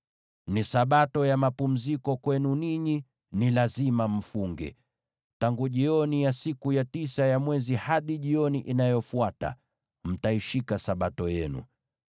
Ni Sabato ya mapumziko kwenu ninyi, na lazima mfunge. Tangu jioni ya siku ya tisa ya mwezi hadi jioni inayofuata, mtaishika Sabato yenu.”